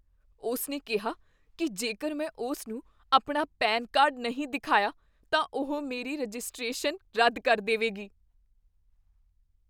ਉਸ ਨੇ ਕਿਹਾ ਕੀ ਜੇਕਰ ਮੈਂ ਉਸ ਨੂੰ ਆਪਣਾ ਪੈਨਕਾਰਡ ਨਹੀਂ ਦਿਖਾਇਆ, ਤਾਂ ਉਹ ਮੇਰੀ ਰਜਿਸਟ੍ਰੇਸ਼ਨ ਰੱਦ ਕਰ ਦੇਵੇਗੀ।